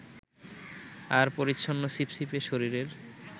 আর পরিচ্ছন্ন ছিপছিপে শরীরের